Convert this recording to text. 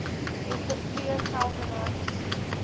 dr t geldenhuys